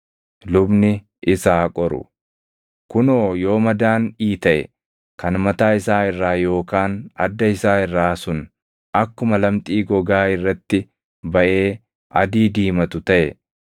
Lubni isa haa qoru; kunoo yoo madaan iitaʼe kan mataa isaa irraa yookaan adda isaa irraa sun akkuma lamxii gogaa irratti baʼee adii diimatu taʼe,